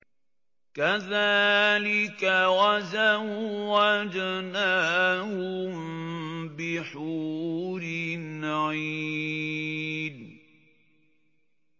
كَذَٰلِكَ وَزَوَّجْنَاهُم بِحُورٍ عِينٍ